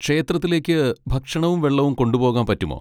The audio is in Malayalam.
ക്ഷേത്രത്തിലേക്ക് ഭക്ഷണവും വെള്ളവും കൊണ്ടുപോകാൻ പറ്റുമോ?